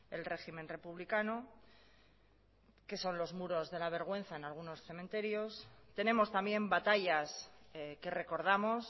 el régimen republicano que son los muros de la vergüenza en algunos cementerios tenemos también batallas que recordamos